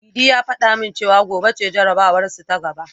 Idi ya fada min cewa gobe ce jarabawarsu ta gaba.